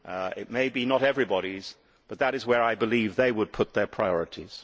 It may be not everybody's but that is where I believe they would put their priorities.